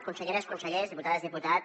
conselleres consellers diputades diputats